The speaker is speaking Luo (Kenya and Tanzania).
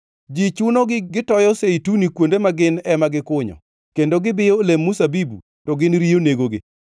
Ji chunogi gitoyo zeituni kuonde ma gin ema gikunyo, kendo gibiyo olemb mzabibu to gin riyo negogi.